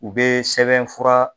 U bɛ sɛbɛnfura